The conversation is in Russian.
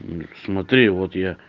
смотри вот я